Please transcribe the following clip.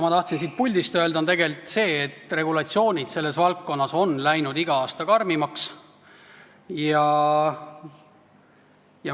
Ma tahtsin siit puldist öelda, et regulatsioonid selles valdkonnas on läinud iga aasta karmimaks.